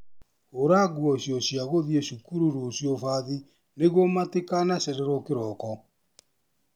Hũra nguo cio cia gũthiĩ cukuru rũciũ bathi nĩguo matikanacererwo kĩroko.